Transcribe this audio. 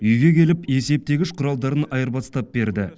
үйге келіп есептегіш құралдарын айырбастап берді